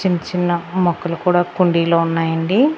చిన్న చిన్న మొక్కలు కూడా కుండీలో ఉన్నాయండి.